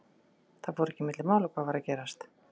Það fór ekki milli mála hvað var að gerast.